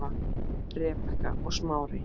Rebekka og Smári.